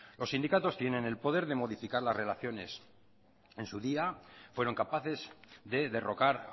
los sindicatos tienen el poder de modificar las relaciones en su día fueron capaces de derrocar